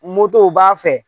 Motow b'a fɛ